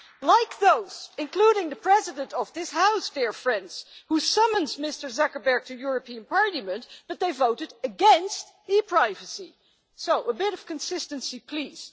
Like those including the President of this House, dear friends who summoned Mr Zuckerberg to the European Parliament, but they voted against e privacy, so a bit of consistency, please.